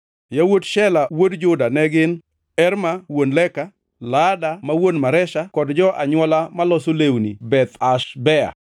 Yawuot Shela wuod Juda ne gin: Er ma wuon Leka, Laada ma wuon Maresha kod jo-anywola maloso lewni Beth Ashbea;